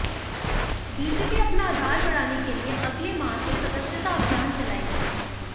BJP अपना आधार बढ़ाने के लिए अगले माह से सदस्यता अभियान चलाएगी